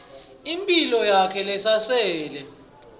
imphilo yakhe lesasele